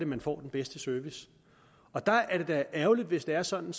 man får den bedste service og der er det da ærgerligt hvis det er sådan